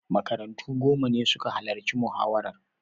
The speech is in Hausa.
Makarantu goma ne suka halarci muhawarar.